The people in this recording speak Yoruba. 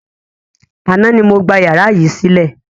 Àná ni mo gbà yàrá yìí sílẹ̀.